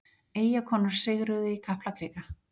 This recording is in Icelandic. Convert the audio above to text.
Eyjakonur sigruðu í Kaplakrika